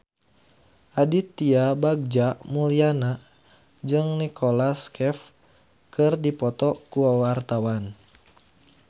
Aditya Bagja Mulyana jeung Nicholas Cafe keur dipoto ku wartawan